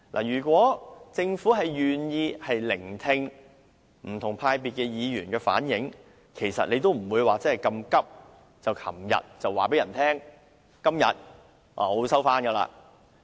如果政府願意聆聽不同派別議員的意見，便不會如此急切在昨天公布全體委員會休會待續的議案。